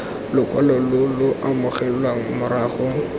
lokwalo lo lo amogelwang morago